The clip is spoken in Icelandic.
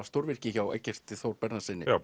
stórvirki hjá Eggerti Þór